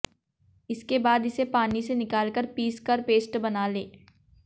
इसके बाद इसे पानी से निकाल कर पीस कर पेस्ट बना लें